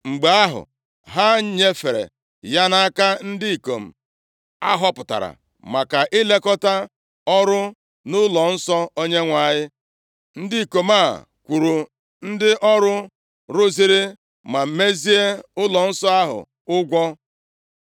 Mgbe ahụ, ha nyefere ya nʼaka ndị ikom ahọpụtara maka ilekọta ọrụ nʼụlọnsọ Onyenwe anyị. Ndị ikom a kwụrụ ndị ọrụ rụziri ma mezie ụlọnsọ ahụ ụgwọ.